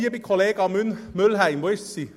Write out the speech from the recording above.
Liebe Kollega Mühlheim – wo ist sie?